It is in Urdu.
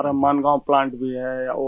ہمارا مانگ گاؤں پلانٹ بھی ہے